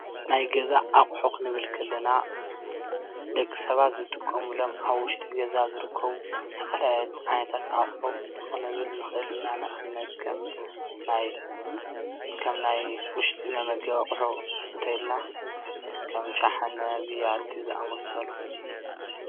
ናይ ገዛ ኣቁሑ ክንብል ከለና ደቂ ሰባት ዝጥቀሙሎም ኣብ ውሽጢ ገዛ ዝርከቡ ዝተፈላለዩ ዓይነታት ኣቁሑ ክንብል ንክእል ኢና፡፡ ንኣብነት ከም ናይ ውሽጢ መመገቢ ኣቁሑ እንተኢልና ከም ሸሓነ ፣ቢያቲ ዝኣምሰሉ